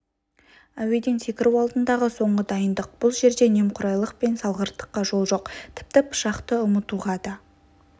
әуеден секіру алдындағы соңғы дайындық бұл жерде немқұрайлық пен салғырттыққа жол жоқ тіпті пышақты ұмытуға да